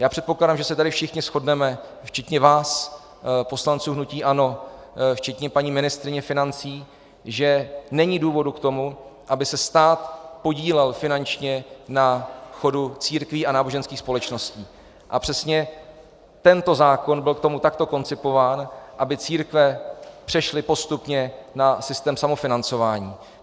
Já předpokládám, že se tady všichni shodneme, včetně vás poslanců hnutí ANO, včetně paní ministryně financí, že není důvodu k tomu, aby se stát podílel finančně na chodu církví a náboženských společností, a přesně tento zákon byl k tomu takto koncipován, aby církve přešly postupně na systém samofinancování.